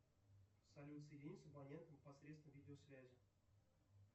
салют соедини с абонентом посредством видеосвязи